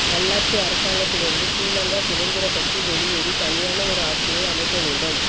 நல்லாட்சி அரசாங்கத்திலிருந்து ஸ்ரீலங்கா சுதந்திர கட்சி வெளியேறி தனியான ஒரு ஆட்சியை அமைக்க வேண்டும்